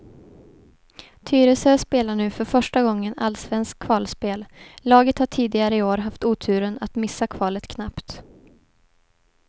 Tyresö spelar nu för första gången allsvenskt kvalspel, laget har tidigare i år haft oturen att missa kvalet knappt.